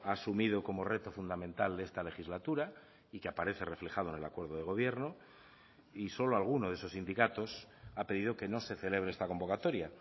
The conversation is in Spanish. ha asumido como reto fundamental de esta legislatura y que aparece reflejado en el acuerdo de gobierno y solo alguno de esos sindicatos ha pedido que no se celebre esta convocatoria